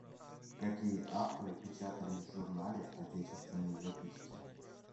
какие авторы печатались в журнале отечественные записки